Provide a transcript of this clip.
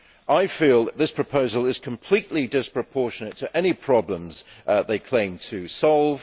I feel that this proposal is completely disproportionate to any problems it claims to solve.